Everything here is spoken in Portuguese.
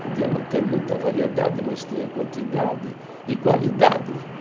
Podia não ter muita variedade, mas tinha quantidade e qualidade